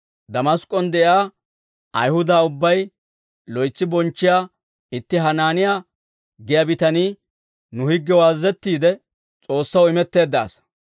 «Damask'k'on de'iyaa Ayihuda ubbay loytsi bonchchiyaa itti Hanaaniyaa giyaa bitanii, nu higgiyaw azazettiide, S'oossaw imetteedda asaa.